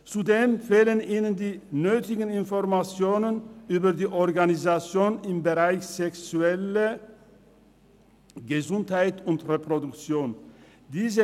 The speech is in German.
Zudem fehlen ihnen die nötigen Informationen über die Organisation der sexuellen und reproduktiven Gesundheit.